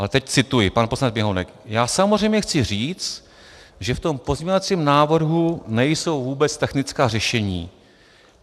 Ale teď cituji, pan poslanec Běhounek: "Já samozřejmě chci říct, že v tom pozměňovacím návrhu nejsou vůbec technická řešení.